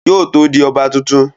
Yóò tó di ọba tuntun